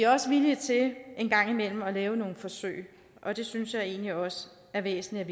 også villige til en gang imellem at lave nogle forsøg og det synes jeg egentlig også er væsentligt